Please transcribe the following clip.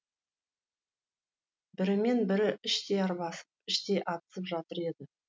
бірімен бірі іштей арбасып іштей атысып жатыр еді